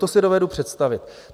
To si dovedu představit.